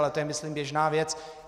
Ale to je myslím běžná věc.